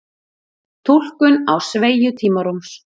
túlkun á sveigju tímarúms